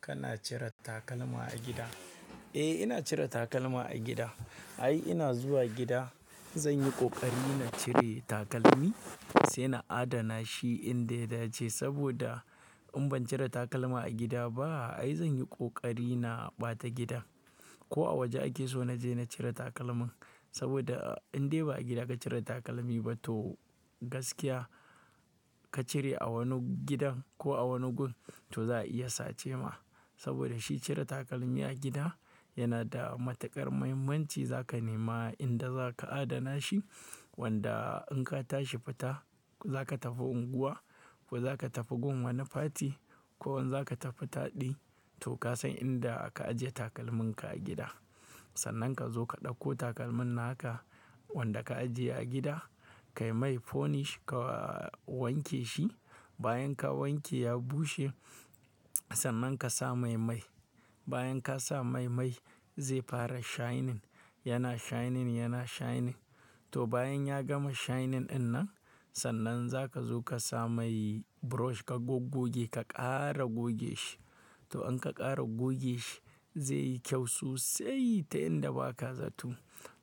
Kana cire takalma a gida? Eh, ina cire takalma a gida. Ai ina zuwa gida zan yi ƙoƙari na cire takalmi sai na adana shi inda ya dace. Saboda in ban cire takalma a gida ba ai zan yi ƙoƙari na ɓata gida ko a waje ake so na je na cire takalmin. Saboda in dai ba a gida ka cire takalmi ba toh gaskiya ka cire a wani gidan ko a wani gun toh za a iya sace ma. Saboda shi cire takalmi a gida yana da matuƙar muhimmanci. Za ka nema inda za ka adana shi wanda in ka tashi fita za ka tafi unguwa ko za ka tafi gun wani fati ko wanda za ka tafi taɗi toh ka san inda ka ajiye takalmin ka a gida. Sannan ka zo ka ɗauko takalmin naka wanda ka ajiye a gida, kai mai polish ka wanke shi. Bayan ka wanke ya bushe sannan ka sa mai mai. Bayan ka sa mai mai zai fara shining, yana shining yana shining. Toh bayan ya gama shining dinnan sannan za ka zo ka sa mai brush ka gogoge ka ƙara goge shi. To in ka ƙara goge shi zai yi kyau sosai ta inda ba ka zato.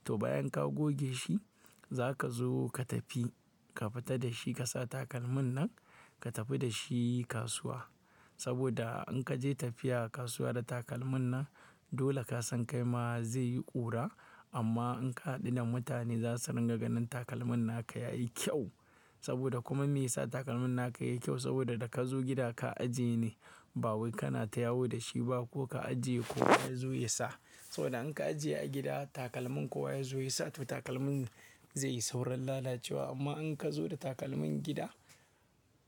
Toh bayan ka goge shi za ka zo ka tafi, ka fita da shi ka sa takalmin nan ka tafi da shi kasuwa. Saboda in ka je tafiya kasuwa da takalmin nan dole ka san kai ma zai yi ƙura. Amma in ka haɗu da mutane za su ringa ganin takalmin naka yayi kyau. Saboda kuma me yasa takalmin naka yayi kyau? Saboda da ka zo gida ka ajiye ne ba wai kana ta yawo da shi ba ko ka ajiye ko ya zo ya sa. Saboda in ka ajiye a gida takalmin ko wa ya zo ya sa toh takalmin zai yi saurin lalacewa. Amma in ka zo da takalmin gida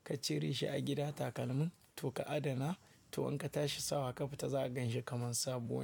ka cire shi a gida takalmin toh ka adana toh in ka tashi sawa ka fita za a gan shi kamar sabo.